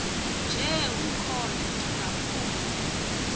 nje umkhondo ndingafuni